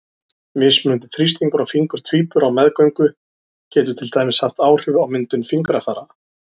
Mismunandi þrýstingur á fingur tvíbura á meðgöngu getur til dæmis haft áhrif á myndun fingrafara.